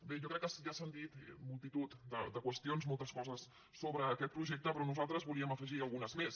bé jo crec que ja s’han dit multitud de qüestions moltes coses sobre aquest projecte però nosaltres volíem afegirne algunes més